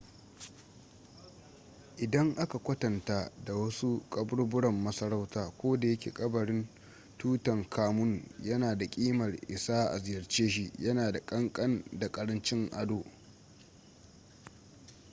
idan aka kwatanta da wasu kaburburan masarauta kodayake kabarin tutankhamun yana da ƙimar isa a ziyarce shi yana da ƙanƙan da ƙarancin ado